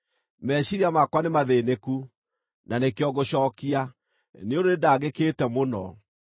“Meciiria makwa nĩ mathĩĩnĩku, na nĩkĩo ngũcookia, nĩ ũndũ nĩndangĩkĩte mũno.